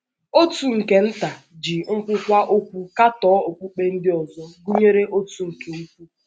Òtù nke Nta ji nke Nta ji nkwuwa okwu katọọ okpukpe ndị ọzọ, gụnyere Òtù nke Ukwu.